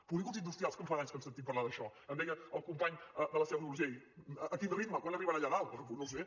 polígons industrials que en fa d’anys que en sentim parlar d’això em deia el company de la seu d’urgell a quin ritme quan arribarà allà dalt doncs bé no ho sé